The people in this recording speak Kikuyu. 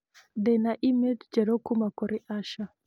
ndĩ na e-mail njerũ kuuma kũrĩ asha